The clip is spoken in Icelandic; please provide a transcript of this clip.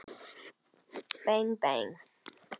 Bang bang.